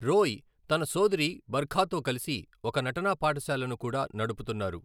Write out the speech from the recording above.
రోయ్ తన సోదరి బర్ఖాతో కలిసి ఒక నటనా పాఠశాలను కూడా నడుపుతున్నారు.